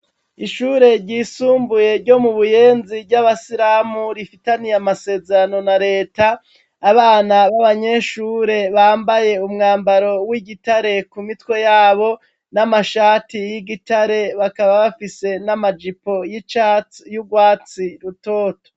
Ishure ryisumbuye ryo mu Buyenzi ry'abasiramu rifitaniye amasezerano na Leta, abana b'abanyeshure bambaye umwambaro w'igitare ku mitwe yabo, n'amashati y'igitare bakaba bafise n'amajipo y'icatsi y'urwatsi rutoto.